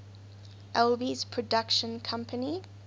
alby's production company